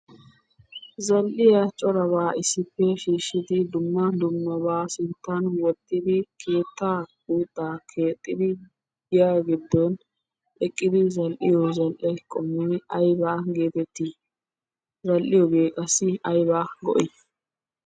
Za'iyaa corabba issippe shiishiddi dumma dummabba sinttan wottidi keetta guutta keexidi giyaa giddon eqqidi zal'iyo zal'ee qommoy aybbaa geetteti? Zal'iyooge qassi aybbaa go'ii?